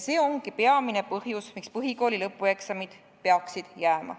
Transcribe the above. See ongi peamine põhjus, miks põhikooli lõpueksamid peaksid jääma.